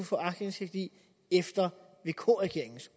få aktindsigt i efter vk regeringens